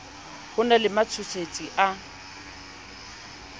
ho na le matshosetsi a